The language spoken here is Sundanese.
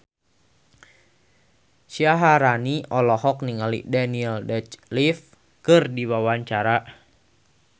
Syaharani olohok ningali Daniel Radcliffe keur diwawancara